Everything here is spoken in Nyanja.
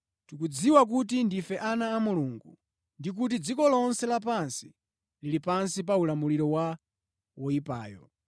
Tikudziwa kuti ndife ana a Mulungu ndi kuti dziko lonse lapansi lili pansi pa ulamuliro wa woyipayo.